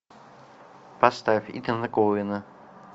поставь итана коэна